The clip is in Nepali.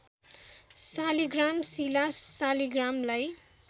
शालिग्राम शिला सालीग्रामलाई